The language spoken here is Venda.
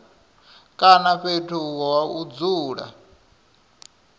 kana fhethu ha u dzula